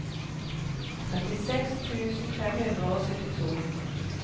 trettiseks tusen fem hundre og syttito